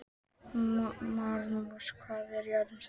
Maríus, hvað er jörðin stór?